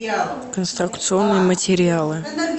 конструкционные материалы